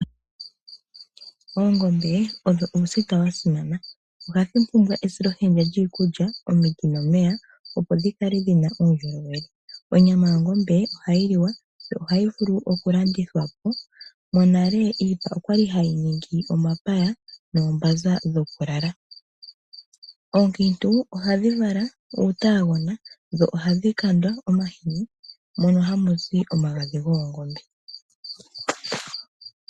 Oongombe odho uusita wa simana. Ohadhi pumbwa esilohenda lyiikulya, omiti nomeya, opo dhi kale dhi na uundjolowele. Onyama yongombe ohayi liwa yo ohayi vulu okulandithwa po. Monale iipa oya li hayi ningi omapaya noombanza dhokulala. Oonkiintu ohadhi vala uutaagona dho ohadhi kandwa omahini hono haku zi omagadhi goongombe.